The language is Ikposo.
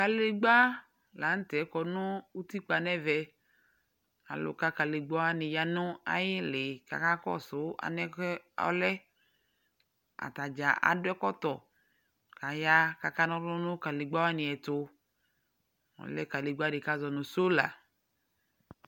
Kǝdegbǝ la nʋtɛ kɔ nʋ utikpa n'ɛvɛ: alʋ ka kǝdegbǝwanɩ ya nʋ ayɩlɩ k'aka kɔsʋ alɛnɛ k'ɛ ɔlɛ Atadza akɔ ɛkɔtɔ k'aya k'aka n'ɔlʋ nʋ kǝdegbǝwanɩ ɛtʋ :ɔlɛ kǝdegbǝdɩ bʋa k'azɔ nʋ sola